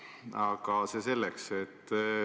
Aga see selleks.